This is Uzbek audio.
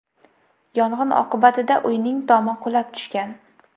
Yong‘in oqibatida uyning tomi qulab tushgan.